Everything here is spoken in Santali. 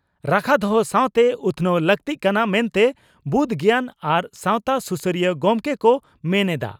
ᱨᱟᱠᱷᱟ ᱫᱚᱦᱚ ᱥᱟᱣᱛᱮ ᱩᱛᱷᱱᱟᱹᱣ ᱞᱟᱹᱠᱛᱤᱜ ᱠᱟᱱᱟ ᱢᱮᱱᱛᱮ ᱵᱩᱫᱽ ᱜᱮᱭᱟᱱ ᱟᱨ ᱥᱟᱣᱛᱟ ᱥᱩᱥᱟᱹᱨᱤᱭᱟᱹ ᱜᱚᱢᱠᱮ ᱠᱚ ᱢᱮᱱ ᱮᱫᱼᱟ ᱾